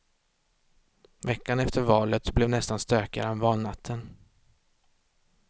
Veckan efter valet blev nästan stökigare än valnatten.